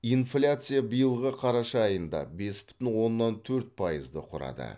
инфляция биылғы қарашада айында бес бүтін оннан төрт пайызды құрады